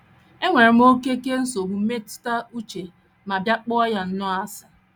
Enwere m oké oké nsogbu mmetụta uche ma bịa kpọọ ya nnọọ asị.